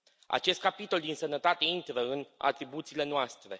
Acest capitol din sănătate intră în atribuțiile noastre.